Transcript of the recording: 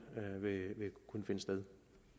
vil kunne finde sted